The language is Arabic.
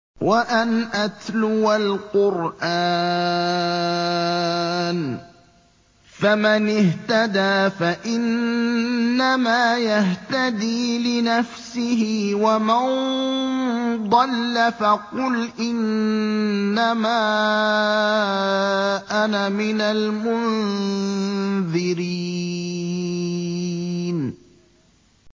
وَأَنْ أَتْلُوَ الْقُرْآنَ ۖ فَمَنِ اهْتَدَىٰ فَإِنَّمَا يَهْتَدِي لِنَفْسِهِ ۖ وَمَن ضَلَّ فَقُلْ إِنَّمَا أَنَا مِنَ الْمُنذِرِينَ